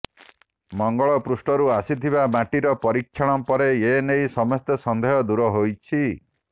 ମଙ୍ଗଳପୃଷ୍ଠରୁ ଆସିଥିବା ମାଟିର ପରୀକ୍ଷଣ ପରେ ଏନେଇ ସମସ୍ତ ସନ୍ଦେହ ଦୂର ହୋଇଛି